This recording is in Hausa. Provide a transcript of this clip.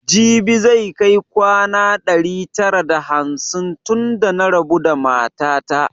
Jibi zai kai kwana ɗari tara da hamsin tun da na rabu da mata ta